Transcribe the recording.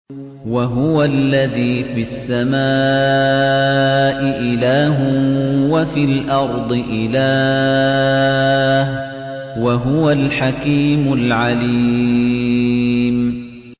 وَهُوَ الَّذِي فِي السَّمَاءِ إِلَٰهٌ وَفِي الْأَرْضِ إِلَٰهٌ ۚ وَهُوَ الْحَكِيمُ الْعَلِيمُ